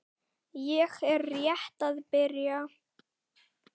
Ég er rétt að byrja!